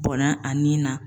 Bɔnna a nin na